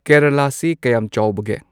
ꯀꯦꯔꯂꯥꯁꯤ ꯀꯌꯥꯝ ꯆꯥꯎꯕꯒꯦ